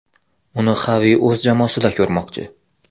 Uni Xavi o‘z jamoasida ko‘rmoqchi.